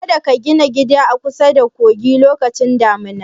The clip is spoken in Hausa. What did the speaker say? Kada ka gina gida a kusada kogi lokacin damuna!